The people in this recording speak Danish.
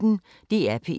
DR P1